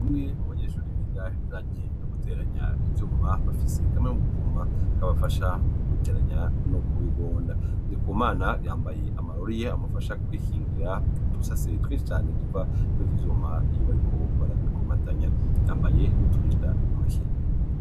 Bamwe mu banyeshuri biga ibijanye no guteranya ibyuma bafise kame mu kuma k'abafasha mu kubiteranya no kubigonda dikomana yambaye amarori ye amufasha kwihingira utusase twe inshi chane duva kuri byo ibyuma iy'obariko barabikomatanya yambaye n'o turinda ntoki.